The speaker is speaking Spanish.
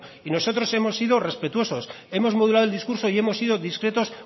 y nosotros hemos sido respetuosos hemos modulado el discurso y hemos sido discretos